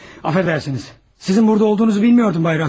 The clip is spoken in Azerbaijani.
Bağışlayın, sizin burada olduğunuzu bilmirdim, cənab Raskolnikov.